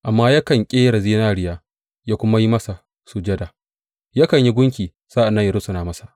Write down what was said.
Amma yakan ƙera zinariya yă kuma yi masa sujada; yakan yi gunki sa’an nan yă rusuna masa.